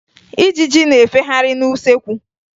Ijiji na-efegharị n'usekwu